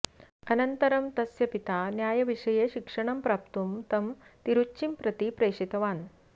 अनन्तरं तस्य पिता न्यायविषये शिक्षणं प्राप्तुं तं तिरुच्चीं प्रति प्रेषितवान्